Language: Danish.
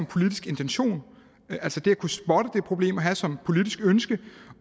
politisk intention altså det at kunne spotte det problem og have som et politisk ønske